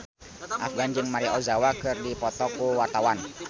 Afgan jeung Maria Ozawa keur dipoto ku wartawan